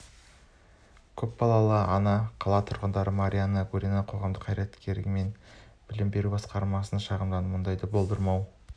көп балалы ана қала тұрғыны марианна гурина қоғамдық қайраткер мен білім беру басқармасына шағымдандым мұндайды болдырмау